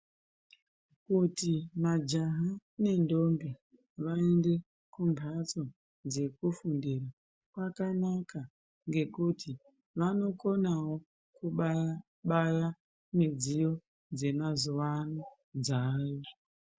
Kuti majaha nendombi vaende kumbatso dzekufundira kwakanaka ngekuti vanokonawo kubaya-baya midziyo dzemazuwa ano dzaayo.